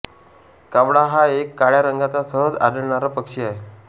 कावळा हा एक काळ्या रंगाचा सहज आढळणारा पक्षी आहे